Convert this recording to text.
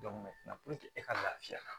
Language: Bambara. e ka lafiya